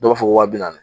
Dɔw b'a fɔ waa bi naani